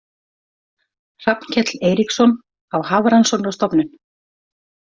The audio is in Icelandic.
Hrafnkell Eiríksson á Hafrannsóknastofnun